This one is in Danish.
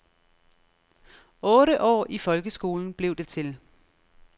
Otte år i folkeskolen blev det til.